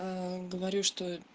говорю что